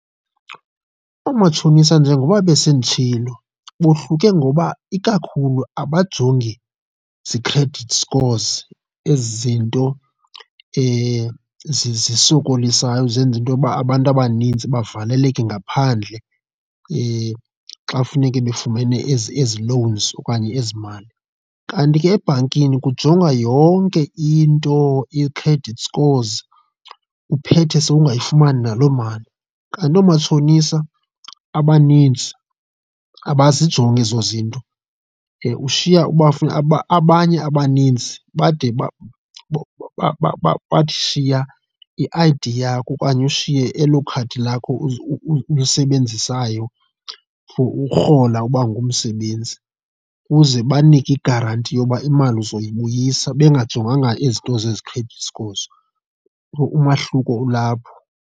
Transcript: Oomatshonisa njengoba besenditshilo bohluke ngoba ikakhulu abajongi zii-credit scores, ezi zinto zisokolisayo zenza into yokuba abantu abaninzi bavaleleke ngaphandle xa funeke befumene ezi ezi loans okanye ezi mali. Kanti ke ebhankini kujongwa yonke into, ii-credit scores uphethe sewungayifumani naloo mali, kanti oomatshonisa abanintsi abazijonga ezo zinto. Ushiya abanye abaninzi bade bathi shiya i-I_D yakho okanye ushiye elo khadi lakho ulisebenzisayo for urhola uba ungumsebenzi ukuze ubanike igaranti yoba imali uzoyibuyisa bengajonganga ezi zinto zezi credit scores, so umahluko olapho.